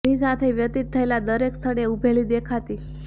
એની સાથે વ્યતિત થયેલા દરેક સ્થળે એ ઊભેલી દેખાતી